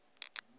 ge e le nna ga